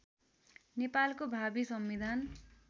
नेपालको भावी संविधान